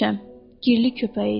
Girli köpəyiydi.